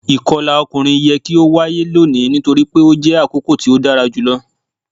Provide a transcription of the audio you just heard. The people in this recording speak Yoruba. Akọla ọkunrin yẹ ki o waye loni nitori pe o jẹ akoko ti o dara julọ